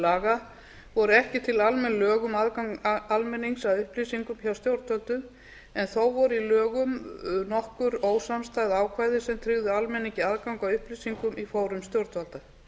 laga voru ekki til almenn lög um aðgang almennings að upplýsingum hjá stjórnvöldum en þó voru í lögum nokkur ósamstæð ákvæði sem tryggðu almenningi aðgang að upplýsingum í fórum stjórnvalda